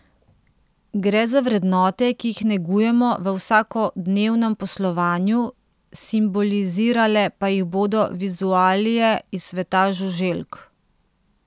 Gre za vrednote, ki jih negujemo v vsakodnevnem poslovanju, simbolizirale pa jih bodo vizualije iz sveta žuželk.